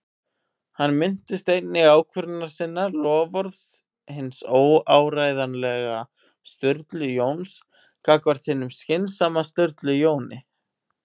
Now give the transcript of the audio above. Hann minnist einnig ákvörðunar sinnar- loforðs hins óáreiðanlega Sturlu Jóns gagnvart hinum skynsama Sturlu Jóni